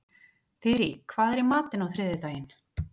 Þyri, hvað er í matinn á þriðjudaginn?